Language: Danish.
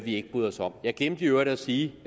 ikke bryder os om jeg glemte i øvrigt at sige